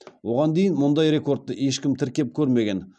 оған дейін мұндай рекордты ешкім тіркеп көрмеген